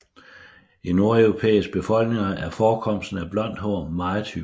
I nordeuropæiske befolkninger er forekomsten af blondt hår meget hyppig